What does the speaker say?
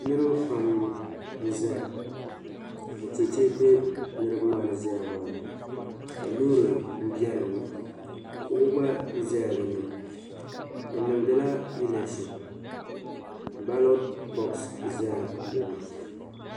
Niribi Pam n ʒaya ka cheche be niribi maa ni ʒaya maani ka lɔɔri n be dini. salɔ gba be la dini bi niŋdila bee electoin.